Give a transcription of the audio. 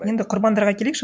енді құрбандарға келейікші